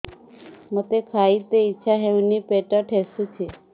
ମୋତେ ଖାଇତେ ଇଚ୍ଛା ହଉନି ପେଟ ଠେସୁଛି